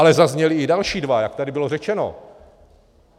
Ale zazněly i další dva, jak tady bylo řečeno.